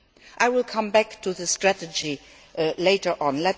I will come back to the strategy later on.